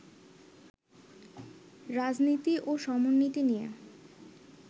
রাজনীতি ও সমরনীতি নিয়ে